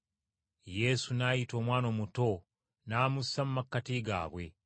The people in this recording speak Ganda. Yesu n’ayita omwana omuto n’amussa mu makkati gaabwe.